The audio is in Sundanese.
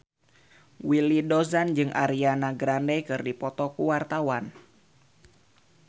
Willy Dozan jeung Ariana Grande keur dipoto ku wartawan